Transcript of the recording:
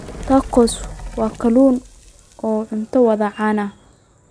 Tacos kalluunku waa cunto waddo caan ah.